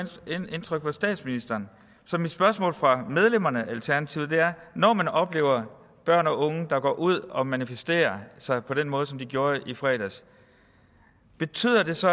indtryk på statsministeren så mit spørgsmål fra medlemmerne af alternativet er når man oplever børn og unge der går ud og manifesterer sig på den måde som de gjorde i fredags betyder det så